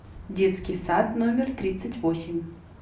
детский сад номер тридцать восемь